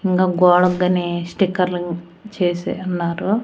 ఇంగా గోడగ్గనీ స్టిక్కర్లు చేసి ఉన్నారు.